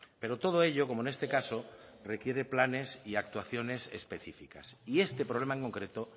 pero todo ello como en este caso requiere planes y actuaciones específicas y este problema en concreto